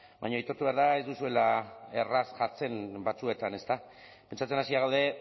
baina aitortu behar da ez duzuela erraz jartzen batzuetan ezta pentsatzen hasia gaude